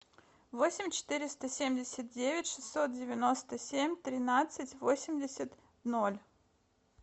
восемь четыреста семьдесят девять шестьсот девяносто семь тринадцать восемьдесят ноль